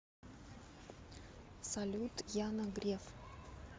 салют яна греф